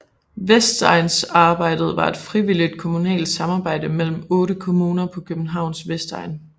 Vestegnssamarbejdet var et frivilligt kommunalt samarbejde mellem otte kommuner på Københavns Vestegn